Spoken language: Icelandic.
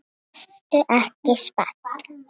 Ertu ekki spennt?